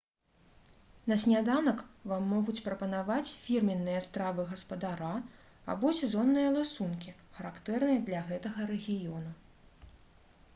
на сняданак вам могуць прапанаваць фірменныя стравы гаспадара або сезонныя ласункі характэрныя для гэтага рэгіёну